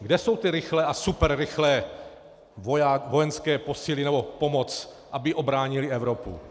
Kde jsou ty rychlé a superrychlé vojenské posily nebo pomoc, aby ubránily Evropu?